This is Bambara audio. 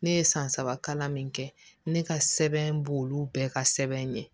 Ne ye san saba kalan min kɛ ne ka sɛbɛn b'olu bɛɛ ka sɛbɛn ɲɛ